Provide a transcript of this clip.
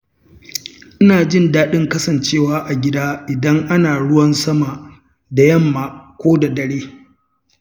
Ina jin daɗin kasancewa a gida, idan ana ruwan sama da yamma ko dare.